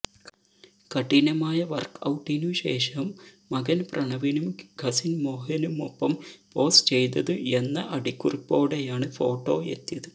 കഠിനമായ വർക്ക് ഔട്ടിനു ശേഷം മകൻ പ്രണവിനും കസിൻ മോഹനുമൊപ്പം പോസ് ചെയ്തത് എന്ന അടിക്കുറിപ്പോടെയാണ് ഫോട്ടോ എത്തിയത്